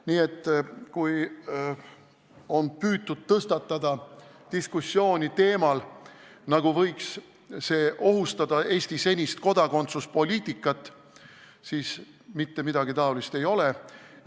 Nii et kui on püütud tõstatada diskussiooni teemal, et see võiks ohustada Eesti senist kodakondsuspoliitikat, siis mitte midagi taolist ei ole.